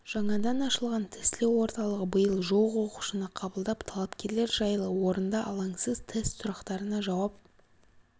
жаңадан ашылған тестілеу орталығы биыл жуық оқушыны қабылдап талапкерлер жайлы орында алаңсыз тест сұрақтарына жауап